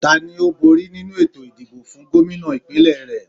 Tani ó bóri nínu ètò ìdìbò fún Gómìnà ìpínlẹ̀ re?